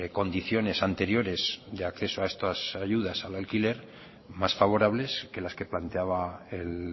condiciones anteriores de acceso a estas ayudas al alquiler más favorables que las que planteaba el